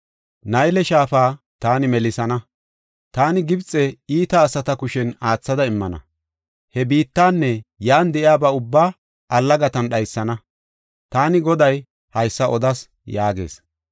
Nayle shaafa taani melisana; taani Gibxe iita asata kushen aathada immana; he biittanne yan de7iyaba ubbaa allagatan dhaysana. Taani Goday haysa odas” yaagees.